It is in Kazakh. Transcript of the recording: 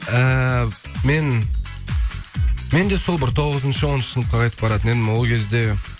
ааа мен менде сол бір тоғызыншы оныншы сыныпқа қайтып баратын едім ол кезде